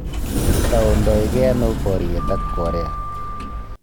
Toundagei ano boryet ak Korea